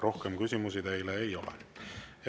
Rohkem küsimusi teile ei ole.